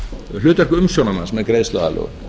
hlutverk umsjónarmanns með greiðsluaðlögun